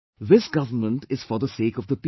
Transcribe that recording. This government is for the sake of the people